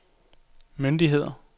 myndigheder